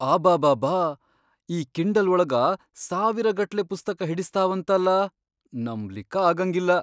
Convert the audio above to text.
ಅಬಾಬಾಬಾ ಈ ಕಿಂಡಲ್ ಒಳಗ ಸಾವಿರಗಟ್ಲೆ ಪುಸ್ತಕಾ ಹಿಡಸ್ತಾವಂತಲಾ.. ನಂಬ್ಲಿಕ್ಕ ಆಗಂಗಿಲ್ಲ.